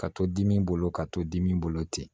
Ka to dimi bolo ka to dimi bolo ten